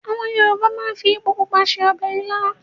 Àwọn Yorùbá máa ń fi epo pupa se ọbẹ̀ ilá.